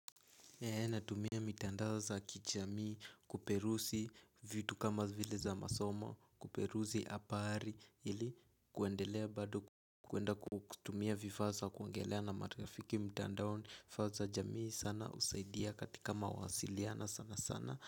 Eee natumia mitandaoza kichamii kuperusi vitu kama vile za masoma kuperusi apari ili kuendelea bado kuenda kutumia vifaa za kuongelea na maarafiki mitandaoni faa za jamii sana usaidia katika mawasiliano sana sana.